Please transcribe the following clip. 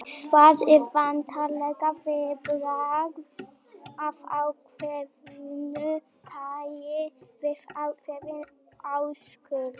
Svar er væntanlega viðbragð af ákveðnu tæi við ákveðinni áskorun.